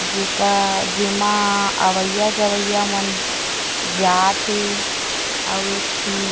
जेका जेमा अवइया-जवइया मन जात हे आवेखि--